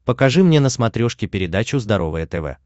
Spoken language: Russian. покажи мне на смотрешке передачу здоровое тв